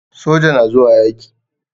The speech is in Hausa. soja na zuwa yaki.